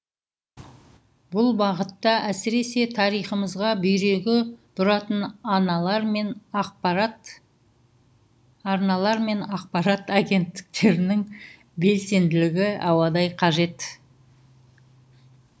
бұл бағытта әсіресе тарихымызға бүйрегі бұратын арналар мен ақпарат агенттіктерінің белсенділігі ауадай қажет